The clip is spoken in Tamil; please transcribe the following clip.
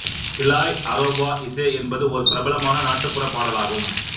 இலாய் அரோபா இசே என்பது ஓர் பிரபலமான நாட்டுப்புற பாடலாகும்